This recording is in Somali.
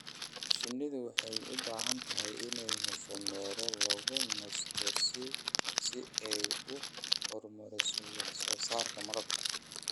Shinnidu waxay u baahan tahay inay hesho meelo lagu nasto si ay u horumariso wax soo saarka malabka.